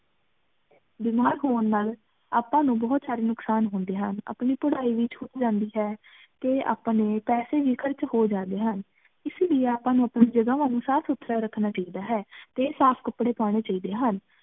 ਬੀਮਾਰ ਹੋਵਣ ਨਾਲ ਆਪਾਂ ਨੂੰ ਬੋਹਤ ਸਾਰੀ ਨੁਕ਼ਸਾਨ ਹੁੰਦੇ ਹਨ, ਆਪਣੀ ਪਢ਼ਾਈ ਵੀ ਛੁੱਟ ਜਾਂਦੀ ਹੈ ਤੇ ਆਪਣੇ ਪੈਸੇ ਵੀ ਖਰਚ ਹੋ ਜਾਂਦੇ ਹਨ, ਇਸੇ ਲੀਯੇ ਆਪਾਂ ਨੂੰ ਆਪਣੀ ਜਗਹਾਂ ਨੂੰ ਸਾਫ਼ ਸੁਥਰਾ ਰਖਣਾ ਚਾਹੀਦਾ ਹੈ ਤੇ ਸਾਫ਼ ਕਪੜੇ ਪਾਉਣੇ ਚਾਹੀਦੇ ਹਨ